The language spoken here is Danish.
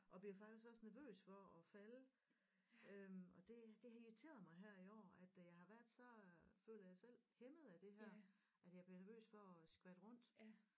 Og bliver faktisk også nervøs for at falde øh og det det har irriteret mig her i år at jeg har været sådan føler jeg selv hæmmet af det her at jeg bliver nervøs for at skvatte rundt